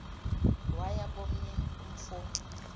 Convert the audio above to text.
waya komnye umfo